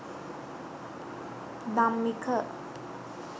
dammika